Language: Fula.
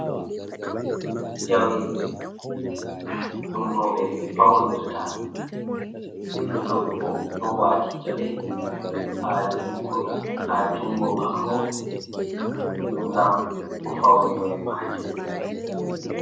Jawe dum robe faunirta, biddo debbo do wati jawe ha jungo mako gam o fauniroe majum.